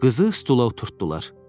Qızı stula oturtdular.